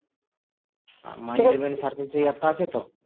R my eleven surface এই app টা আছে তো